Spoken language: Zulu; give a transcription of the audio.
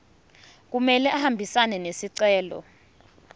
kumele ahambisane nesicelo